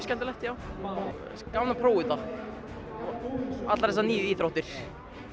skemmtilegt já gaman að prófa þetta allar þessar nýju íþróttir